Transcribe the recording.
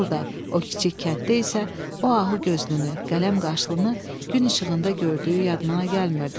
Orda, o kiçik kənddə isə o ahu gözlünü, qələm qaşlını gün işığında gördüyü yadına gəlmirdi.